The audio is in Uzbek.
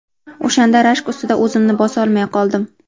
O‘shanda rashk ustida o‘zimni bosolmay qoldim.